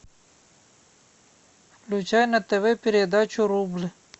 включай на тв передачу рубль